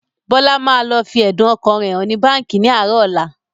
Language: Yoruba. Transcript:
Bọlá máa lọ fi ẹ̀dùn ọkàn rẹ hàn ní báńkì ni àárọ̀ ọ̀la